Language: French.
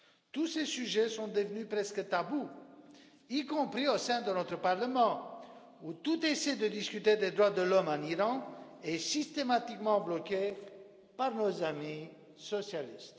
Tous ces sujets sont devenus presque tabou, y compris au sein de notre Parlement, où toute tentative de discussion des droits de l'homme en Iran est systématiquement bloquée par nos amis socialistes.